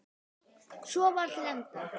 Svo var til enda.